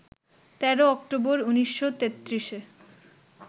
১৩ October ১৯৩৩-এ